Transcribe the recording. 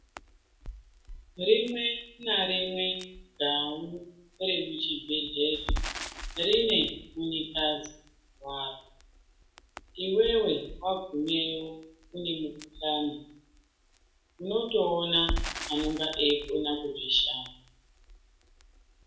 Rimwe narimwe gau remuchibhehlera, rine munyikadzi waro, iwewe wagumeyo une mugudhlani unotoona anenge eikona kuzvishanda.